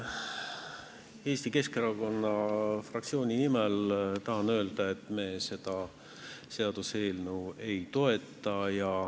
Eesti Keskerakonna fraktsiooni nimel tahan öelda, et me seda seaduseelnõu ei toeta.